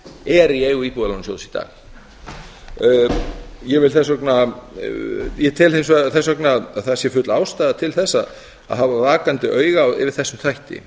er í eigu íbúðalánasjóðs í dag ég tel þess vegna að það sé full ástæða til þess að hafa vakandi auga yfir þessum þætti